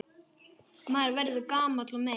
Maður verður gamall og meyr.